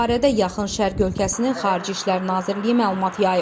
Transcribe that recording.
Bu barədə Yaxın Şərq ölkəsinin Xarici İşlər Nazirliyi məlumat yayıb.